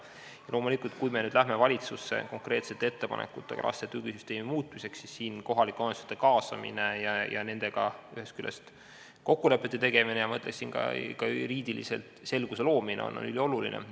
Ja loomulikult, kui me läheme valitsusse konkreetsete ettepanekutega muuta laste tugisüsteemi, siis on kohalike omavalitsuste kaasamine ja nendega kokkulepete tegemine, aga ka juriidiliselt selguse loomine ülioluline.